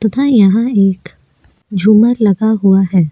तथा यहां एक झूमर लगा हुआ है।